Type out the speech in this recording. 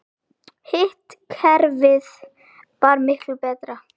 Hitt kerfið var miklu betra.